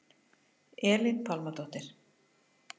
Elín Pálmadóttir